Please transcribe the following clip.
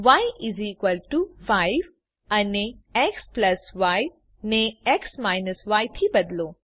ય 5 અને xy ને x ય થી બદલો